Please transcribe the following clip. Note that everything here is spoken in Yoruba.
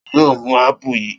Ta ni yóò mú ápù yìí?